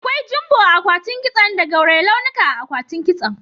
Akwai jumbo akwatin kiso da gauraye launuka akwatin kiso.